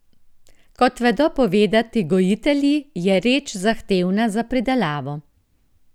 Kot vedo povedati gojitelji, je reč zahtevna za pridelavo.